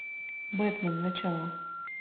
бэтмен начало